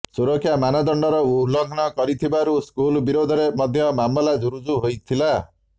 ସୁରକ୍ଷା ମାନଦଣ୍ଡର ଉଲଂଘନ କରିଥିବାରୁ ସ୍କୁଲ୍ ବିରୋଧରେ ମଧ୍ୟ ମାମଲା ରୁଜୁ ହୋଇଥିଲା